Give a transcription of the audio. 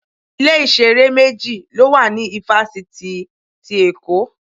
Ilé-ìṣeré méjì ló wà ní ifafiti ti Èkó.